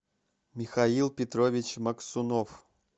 михаил петрович максунов